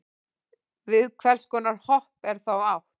við hvers konar hopp er þá átt